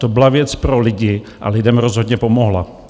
To byla věc pro lidi a lidem rozhodně pomohla.